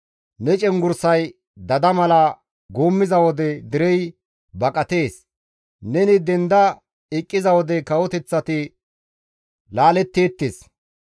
Ne cenggurssay dada mala guummiza wode derey baqatees; neni denda eqqiza wode kawoteththati laaletteettes.